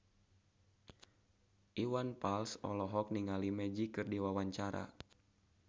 Iwan Fals olohok ningali Magic keur diwawancara